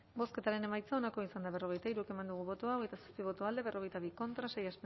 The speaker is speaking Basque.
bozketaren emaitza onako izan da berrogeita hiru eman dugu bozka hogeita zazpi boto alde berrogeita bi contra sei